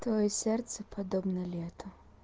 твоё сердце подобно лета